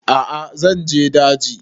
A'a zan je daji